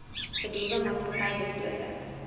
bedoelde maatskappy beslote